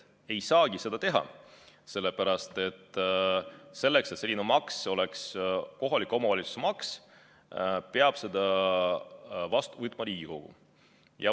Ei saagi seda teha, sellepärast et selleks, et selline maks oleks kohaliku omavalitsuse maks, peab Riigikogu selle kõigepealt vastu võtma.